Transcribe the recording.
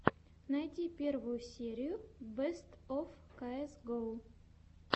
найди первую серию бэст оф каэс гоу